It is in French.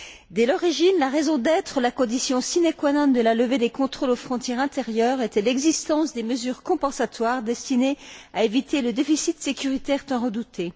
Dès l'origine, la raison d'être, la condition sine qua non de la levée des contrôles aux frontières intérieures, était l'existence des mesures compensatoires destinées à éviter le déficit sécuritaire tant redouté.